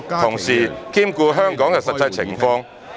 同時兼顧香港的實際情況。